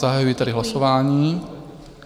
Zahajuji tedy hlasování.